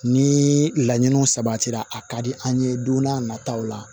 Ni laɲiniw sabatira a ka di an ye don n'a nataw la